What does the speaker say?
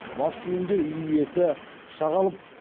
мас күйінде үй иесі пышақ алып